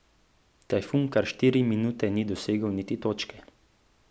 Tajfun kar štiri minuti ni dosegel niti točke.